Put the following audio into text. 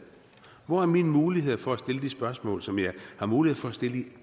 hvor er mine muligheder for at stille de spørgsmål som jeg har mulighed for at stille i